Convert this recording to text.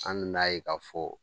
An nan'a ye k'a fɔ